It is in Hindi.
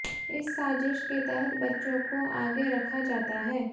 इस साजिश के तहत बच्चों को आगे रखा जाता है